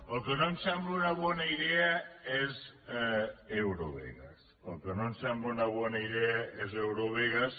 el que no em sembla una bona idea és eurovegas el que no em sembla una bona idea és eurovegas